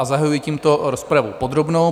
A zahajuji tímto rozpravu podrobnou.